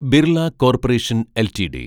Birla corporation LTD